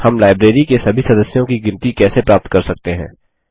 हम लाइब्रेरी के सभी सदस्यों की गिनती कैसे प्राप्त कर सकते हैं